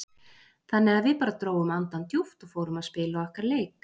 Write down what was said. Þannig að við bara drógum andann djúpt og fórum að spila okkar leik.